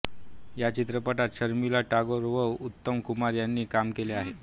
या चित्रपटात शर्मिला टगोर व उत्तम कुमार यानी काम केले आहे